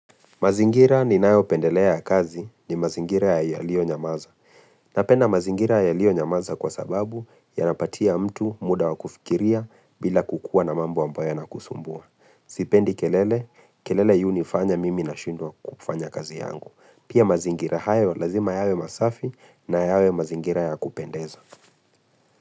Mazingira ninayo pendelea ya kazi ni mazingira yalio nyamaza. Napenda mazingira yalio nyamaza kwa sababu yanapatia mtu muda wa kufikiria bila kukua na mambo ambayo yanakusumbua. Sipendi kelele, kelele yunifanya mimi nashindwa kufanya kazi yangu. Pia mazingira hayo lazima yawe masafi na yawe mazingira ya kupendeza.